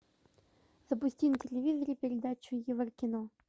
запусти на телевизоре передачу еврокино